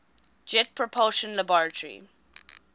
jet propulsion laboratory